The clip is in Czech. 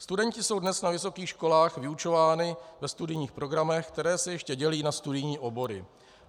Studenti jsou dnes na vysokých školách vyučováni ve studijních programech, které se ještě dělí na studijní obory.